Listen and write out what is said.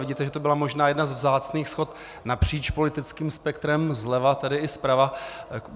Vidíte, že to byla možná jedna ze vzácných shod napříč politickým spektrem - zleva tedy i zprava.